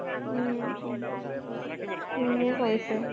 উম ধুনীয়া কৰিছে।